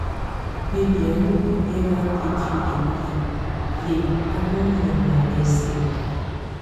baby i no go eva take you dey play-play i don learn my lesson.